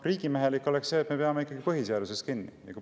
Riigimehelik oleks see, et me peame kinni põhiseadusest.